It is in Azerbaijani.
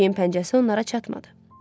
Pişiyin pəncəsi onlara çatmadı.